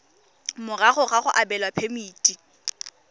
morago ga go abelwa phemiti